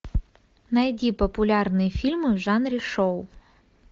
найди популярные фильмы в жанре шоу